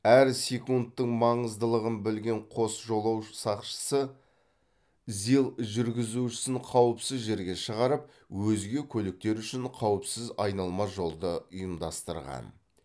әр секундтың маңыздылығын білген қос жолаушы сақшысы зил жүргізушісін қауіпсіз жерге шығарып өзге көліктер үшін қауіпсіз айналма жолды ұйымдастырған